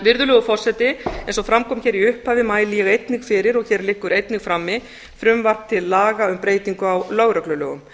virðulegur forseti eins og fram kom hér í upphafi mæli ég einnig fyrir og hér liggur einnig frammi frumvarp til laga um breytingu á lögreglulögum